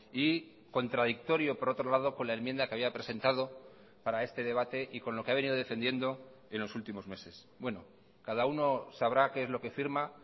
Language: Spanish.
y contradictorio por otro lado con la enmienda que había presentado para este debate y con lo que ha venido defendiendo en los últimos meses bueno cada uno sabrá qué es lo que firma